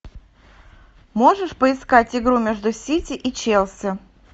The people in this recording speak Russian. можешь поискать игру между сити и челси